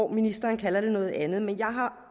ministeren kalder det noget andet men jeg har